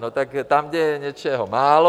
No tak tam, kde je něčeho málo...